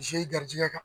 ze garijɛgɛ